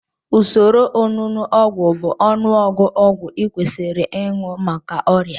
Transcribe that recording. Usoro onunu ogwu bụ ọnụọgụ ọgwụ ị kwesiri aṅụ maka ọrịa